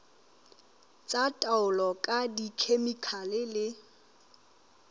tsa taolo ka dikhemikhale le